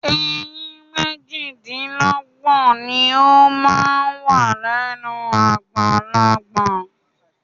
Eyín méjìlélọ́gbọ̀n ni ó máa ń wà lẹ́nu àgbàlagbà.